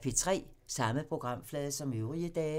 Samme programflade som øvrige dage